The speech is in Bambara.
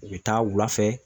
U bɛ taa wulafɛ